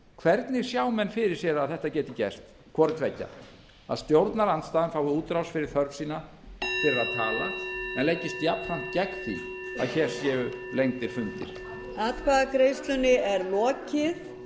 hvernig sjá menn fyrir sér að þetta geti gerst hvorttveggja að stjórnarandstaðan fái útrás fyrir þörf sína til að tala en leggist jafnframt gegn því að hér séu lengdir fundir